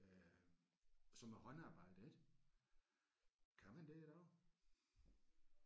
Øh og så med håndarbejde ik. Kan man det i dag?